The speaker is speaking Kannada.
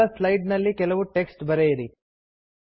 ಮೊದಲ ಸ್ಲೈಡ್ ನಲ್ಲಿ ಕೆಲವು ಟೆಕ್ಸ್ಟ್ ಬರಿಯಿರಿ